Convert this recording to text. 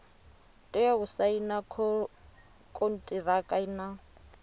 tea u saina konṱiraka na